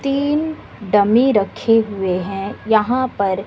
तीन डमी रखे हुए हैं यहां पर--